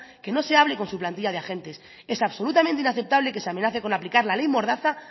que no se hable con su plantilla de agentes es absolutamente inaceptable que se amenace con aplicar la ley mordaza